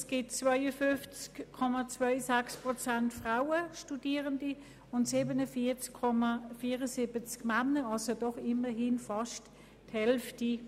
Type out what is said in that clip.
Es gibt 52,26 Prozent Frauen und 47,74 Männer, was doch immerhin beinahe ausgeglichen ist.